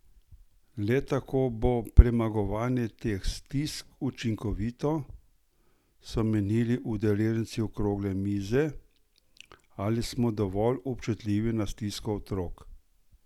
Le tako bo premagovanje teh stisk učinkovito, so menili udeleženci okrogle mize Ali smo dovolj občutljivi za stisko otrok?